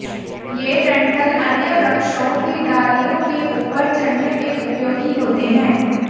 ये डंठल अन्य वृक्षों की डालियों के ऊपर चढ़ने में उपयोगी होते हैं